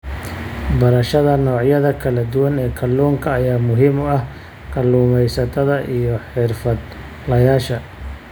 Barashada noocyada kala duwan ee kalluunka ayaa muhiim u ah kalluumaysatada iyo xirfadlayaasha.